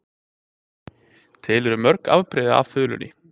Til eru mörg afbrigði af þulunni.